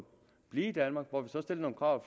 blive i danmark hvor vi så stiller nogle krav